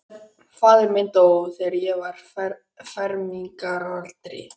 Faðir minn dó, þegar ég var á fermingaraldri.